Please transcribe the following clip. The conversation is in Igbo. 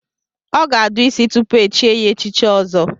Ọ ga-adụ isi tupu echie ya echichi Ọzọ.